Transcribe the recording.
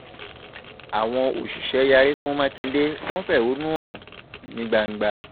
àwọn òṣìṣẹ́ yarí fún mákindé wọn fẹ̀hónú hàn nígbàdàn